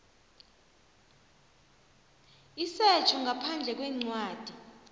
isetjho ngaphandle kwencwadi